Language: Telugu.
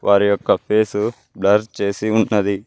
వారి యొక్క ఫేసు బ్లర్ చేసి ఉన్నది.